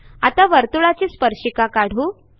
आता वर्तुळाची स्पर्शिका काढू